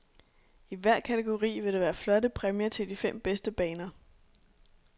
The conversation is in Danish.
I hver kategori vil der være flotte præmier til de fem bedste baner.